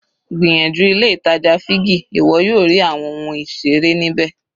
Gbìyànjú ilé ìtàjà Figgy ìwọ yóò rí àwọn ohun ìseré ní bẹ́ẹ̀.